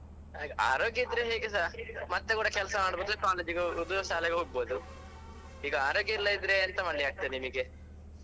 ಆರೋಗ್ಯ ಇದ್ರೆ ಹೇಗೆಸಾ ಮತ್ತೆ ಕೂಡ ಕೆಲಸ ಮಾಡ್ಬೋದು college ಗೆ ಹೋಗುದು ಶಾಲೆಗೆ ಹೋಗ್ಬೋದು ಈಗ ಆರೋಗ್ಯ ಇಲ್ಲದಿದ್ರೆ ಎಂತ ಮಾಡ್ಲಿಕ್ಕೆ ಆಗ್ತದೆ ನಿಮಿಗೆ.